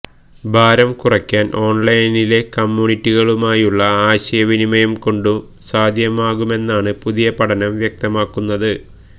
ഭാരം കുറയ്ക്കാന് ഓണ്ലൈനിലെ കമ്മ്യൂണിറ്റികളുമായുള്ള ആശയവിനിമയം കൊണ്ടു സാധ്യമാകുമെന്നാണ് പുതിയ പഠനം വ്യക്തമാക്കുന്നത്